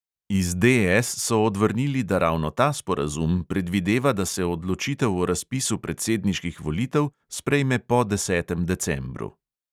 Iz DS so odvrnili, da ravno ta sporazum predvideva, da se odločitev o razpisu predsedniških volitev sprejme po desetem decembru.